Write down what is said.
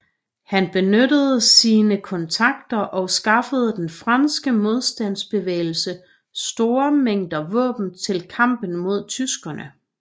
Han benyttede sine kontakter og skaffede den franske modstandsbevægelse store mængder våben til kampen mod tyskerne